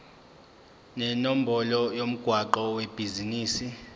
nenombolo yomgwaqo webhizinisi